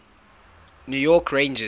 new york rangers